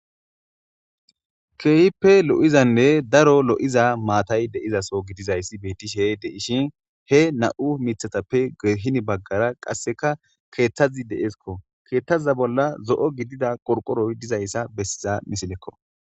keehppe lo'zanne daro lo'iza maatay de'iza soo gidizayssi beitishe deishin he nam'u mithatappe gido baggara qasseka keeththazi de'eskko, keeththaza bolla zo'o gidida qorqoroy dizayssa bessiza misilekko